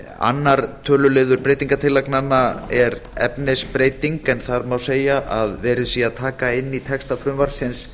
annar töluliður breytingartillagnanna er efnisbreyting en þar má segja að verið sé að taka inn í texta frumvarpsins